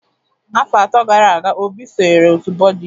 Afọ atọ gara aga, Obi sonyeere otu Buddhist